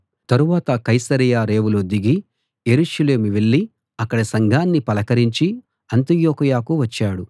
తరువాత కైసరయ రేవులో దిగి యెరూషలేము వెళ్ళి అక్కడి సంఘాన్ని పలకరించి అంతియొకయకు వచ్చాడు